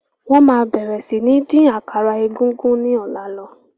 Wọn má bẹ̀rẹ̀ si ni dín àkàrà egúngún ni ọ̀la lọ